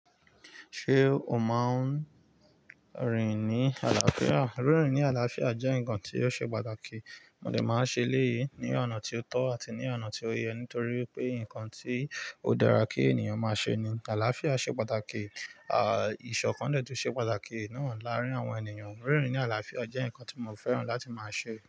Ṣé o máa ń rìn ní àlàáfíà? Rírin ní àlàáfíà jẹ́ nǹkan ti o ṣe pàtàkì. Mo dè máa n ṣe leéyìí ní ọ̀nà tí ó tọ́ àti ní ọ̀nà tí ó yẹ, nítorí pé nǹkan tí ó dára kí ènìyàn máa ṣe ni. Àlàáfíà ṣe pàtàkì. À, ìṣọ̀kan dẹ́ẹ tún ṣe pàtàkì náà láàárín àwọn ènìyàn. Rírin ní àlàáfíà jẹ́ nǹkan tí mo fẹ́ràn láti máa ṣe.